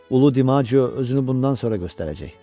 Ulu DiMağio özünü bundan sonra göstərəcək.